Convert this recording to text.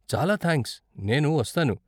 చాలా థ్యాంక్స్, నేను వస్తాను!